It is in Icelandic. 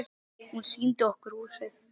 Hún sýndi okkur húsið.